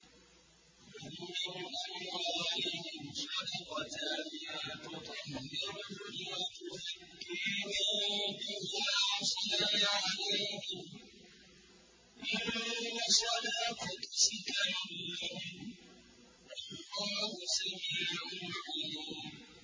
خُذْ مِنْ أَمْوَالِهِمْ صَدَقَةً تُطَهِّرُهُمْ وَتُزَكِّيهِم بِهَا وَصَلِّ عَلَيْهِمْ ۖ إِنَّ صَلَاتَكَ سَكَنٌ لَّهُمْ ۗ وَاللَّهُ سَمِيعٌ عَلِيمٌ